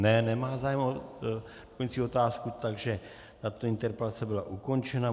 Ne, nemá zájem o doplňující otázku, takže tato interpelace byla ukončena.